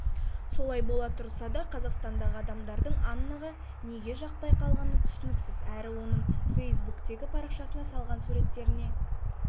солай бола тұрса да қазақстандағы адамдардың аннаға неге жақпай қалғаны түсініксіз әрі оның фейсбуктегі парақшасына салған суреттеріне